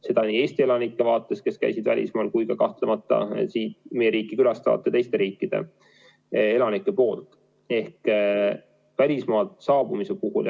Seda nii Eesti elanike tõttu, kes käisid välismaal, kui ka kahtlemata meie riiki külastanud teiste riikide elanike tõttu.